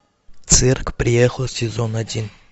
цирк приехал сезон один